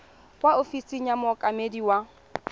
kwa ofising ya mookamedi wa